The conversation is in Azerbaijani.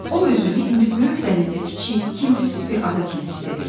O özünü indi böyük dənizdə kiçik, kimsəsiz bir ada kimi hiss edirdi.